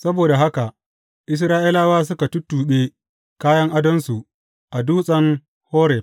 Saboda haka Isra’ilawa suka tuttuɓe kayan adonsu a Dutsen Horeb.